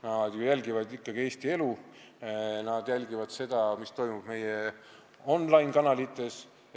Nad jälgivad ju ikkagi Eesti elu, nad jälgivad seda, mis toimub meie on-line-kanalites.